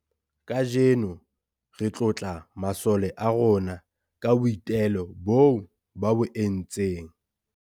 Kaajeno re tlotla masole a rona ka boitelo boo ba bo entseng.